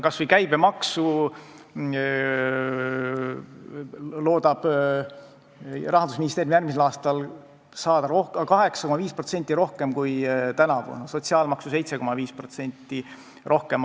Kas või käibemaksu loodab Rahandusministeerium järgmisel aastal saada 8,5% rohkem kui tänavu, sotsiaalmaksu 7,5% rohkem.